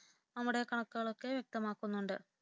നമ്മുടെ കണക്കുകളൊക്കെ വ്യക്തമാകുന്നുണ്ട്